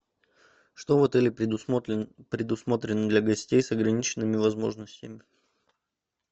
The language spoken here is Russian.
что в отеле предусмотрено для гостей с ограниченными возможностями